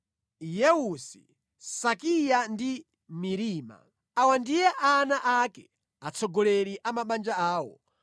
Yeusi, Sakiya ndi Mirima. Awa ndiye ana ake, atsogoleri a mabanja awo.